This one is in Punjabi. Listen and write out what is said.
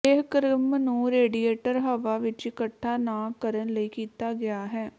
ਇਹ ਕ੍ਰਮ ਨੂੰ ਰੇਡੀਏਟਰ ਹਵਾ ਵਿੱਚ ਇਕੱਠਾ ਨਾ ਕਰਨ ਲਈ ਕੀਤਾ ਗਿਆ ਹੈ